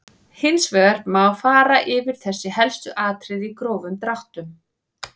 Hins vegar má fara yfir þessi helstu atriði í grófum dráttum.